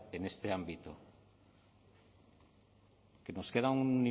en este ámbito que nos queda un